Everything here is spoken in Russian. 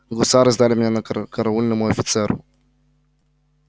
гусары сдали меня караульному офицеру